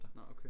Nå okay